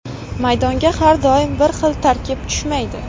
Maydonga har doim bir xil tarkib tushmaydi”.